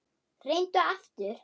Reyndu aftur.